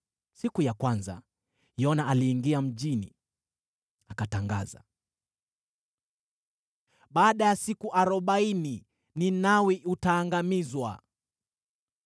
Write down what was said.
Siku ya kwanza, Yona aliingia mjini. Akatangaza: “Baada ya siku arobaini Ninawi utaangamizwa.”